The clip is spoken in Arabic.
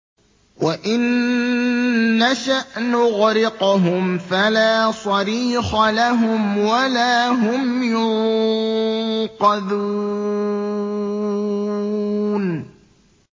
وَإِن نَّشَأْ نُغْرِقْهُمْ فَلَا صَرِيخَ لَهُمْ وَلَا هُمْ يُنقَذُونَ